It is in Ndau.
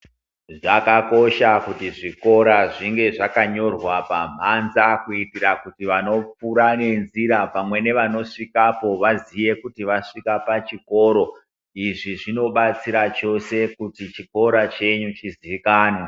Zvakakosha kuti zvikora zvinge zvakanyorwa pamhanza kuita kuti vanopfuura nenzira pamwe nevanosvikapo vazive kuti vasvika pachikoro. Izvi zvinobatsira chose kuti chikora chenyu chizikanwe .